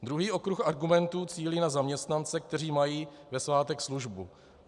Druhý okruh argumentů cílí na zaměstnance, kteří mají ve svátek službu.